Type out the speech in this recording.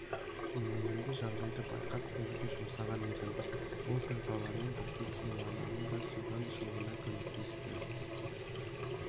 немеремді жағдайды байқап көруге жұмсаған едім ол бір баламен бірге кейуананы да судан шығуына көмектесті